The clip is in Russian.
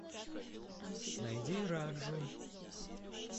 найди раджу